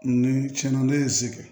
Ni tiɲɛ na ne ye n zigi